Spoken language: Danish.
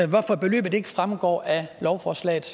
hvorfor beløbet ikke fremgår af lovforslagets